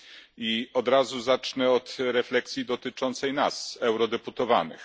I od razu zacznę od refleksji dotyczącej nas, eurodeputowanych.